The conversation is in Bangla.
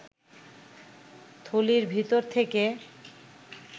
থলির ভিতর থেকে